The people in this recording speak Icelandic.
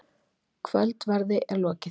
Kvöldverði er lokið.